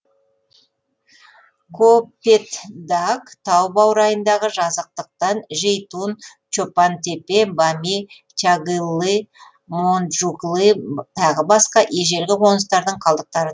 копетдаг тау баурайындағы жазықтықтан жейтун чопан тепе бами чагыллы монджуклы тағы басқа ежелгі қоныстардың қалдықтары